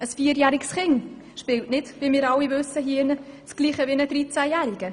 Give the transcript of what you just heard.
Ein vierjähriges Kind spielt nicht dasselbe wie ein dreizehnjähriges.